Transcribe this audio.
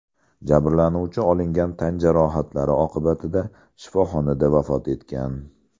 Jabrlanuvchi olingan tan jarohatlari oqibatida shifoxonada vafot etgan.